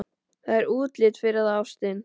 Það er útlit fyrir það, ástin.